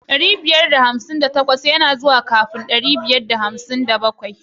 Dari biyar da hamsin da takwas lamba ne kafin ɗari biyar da hamsin da bakwai.